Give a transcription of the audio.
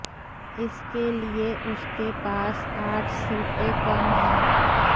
इसके लिए उसके पास आठ सीटें कम हैं